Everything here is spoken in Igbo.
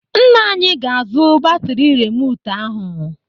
Nna anyị ga-azụ batri rimotu ahụ.